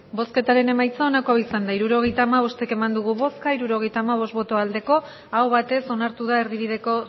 hirurogeita hamabost eman dugu bozka hirurogeita hamabost bai aho batez onartu da erdibideko